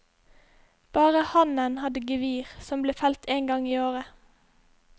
Bare hannen hadde gevir, som ble felt en gang i året.